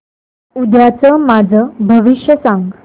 उद्याचं माझं भविष्य सांग